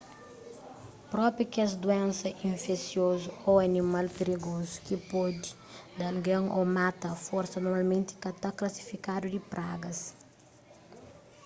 propi kes duénsa infesiozu ô animal prigozu ki pode da algen ô mata a forsa normalmenti ka ta klasifikadu di pragas